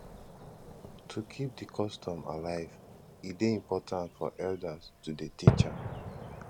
to keep di custom alive e de important for elders to de teach am